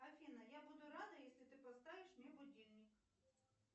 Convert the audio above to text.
афина я буду рада если ты поставишь мне будильник